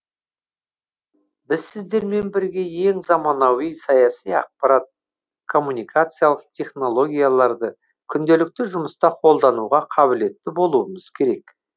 біз сіздермен бірге ең заманауи саяси ақпараттық коммуникациялық технологияларды күнделікті жұмыста қолдануға қабілетті болуымыз керек